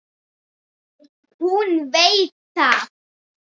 Hún veit það.